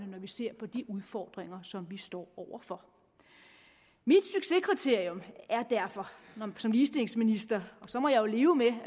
når vi ser på de udfordringer som vi står over for mit succeskriterium er derfor som ligestillingsminister og så må jeg jo leve med